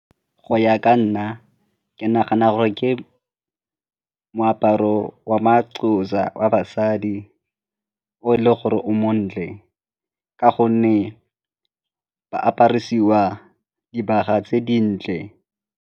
Go ya ka nna ke nagana gore ke moaparo wa ma-Xhosa wa basadi o e le gore o montle ka gonne ba aparisiwa dibaga tse dintle.